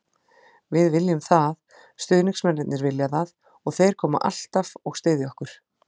Við viljum það, stuðningsmennirnir vilja það og þeir koma alltaf og styðja okkur.